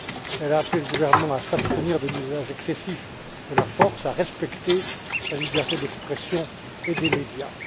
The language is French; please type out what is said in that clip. Elle a appelé le gouvernement à s'abstenir de l'usage excessif de la force et à respecter la liberté d'expression et des médias.